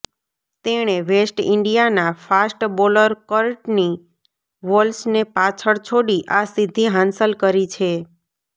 તેણે વેસ્ટ ઈન્ડિયાના fast bowler Courtney વોલ્શને પાછળ છોડી આ સિદ્ધિ હાંસલ કરી છે